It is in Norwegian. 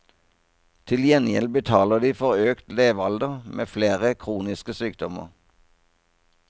Til gjengjeld betaler de for økt levealder med flere kroniske sykdommer.